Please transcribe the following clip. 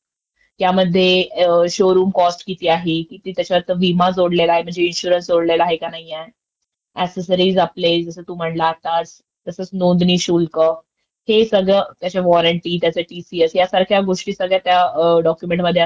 not clear डॉक्युमेंचमध्ये असतात ते आधी चेक करायला पाहिजे. नाही का?आणि तसंच अम्म...त्याची वेगमर्यादा, सीटबेल्ट, आणि हे सगळं. आणि ते ऑन रोड आणि ऑफ रोड हे थोडंस मला अं...तर होते डाऊट तुलाआहे का माहिती